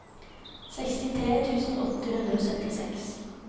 sekstitre tusen åtte hundre og syttiseks